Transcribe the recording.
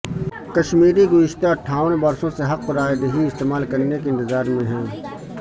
کشمیری گزشتہ اٹھاون برسوں سے حق رائے دہی استعمال کرنے کے انتظار میں ہیں